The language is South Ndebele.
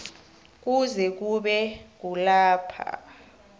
kuze kube kulapho